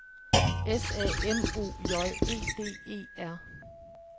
S A M O J E D E R